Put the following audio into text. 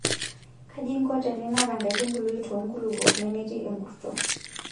Kaji inko teninap enkaitubului too nkulupuok nemetii enkurto.